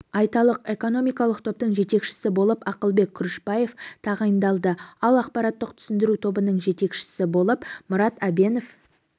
айталық экономикалық топтың жетекшісі болып ақылбек күрішбаев тағайындалды ал ақпараттық түсіндіру тобының жетекші болып мұрат әбенов